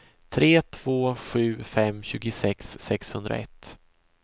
tre två sju fem tjugosex sexhundraett